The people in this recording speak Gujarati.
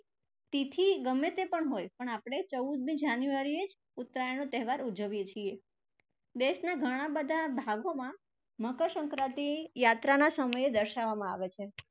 તિથી ગમે તે પણ હોય પણ આપણે ચૌદમી january એ જ ઉત્તરાયણનો તહેવાર ઉજવીએ છીએ. દેશના ઘણા બધા ભાગોમાં મકરસંક્રાંતિ યાત્રાના સમયે દર્શાવવામાં આવે છે.